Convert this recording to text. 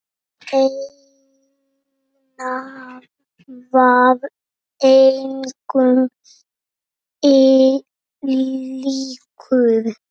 Einar var engum líkur.